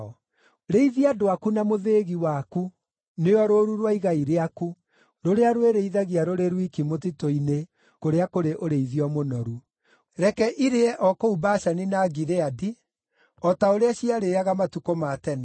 Rĩithia andũ aku na mũthĩgi waku, nĩo rũũru rwa igai rĩaku, rũrĩa rwĩrĩithagia rũrĩ rwiki mũtitũ-inĩ, kũrĩa kũrĩ ũrĩithio mũnoru. Reke irĩe o kũu Bashani na Gileadi, o ta ũrĩa ciarĩĩaga matukũ ma tene.